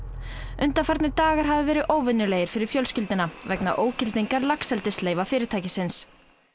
undanfarnir dagar hafa verið óvenjulegir fyrir fjölskylduna vegna ógildingar fyrirtækisins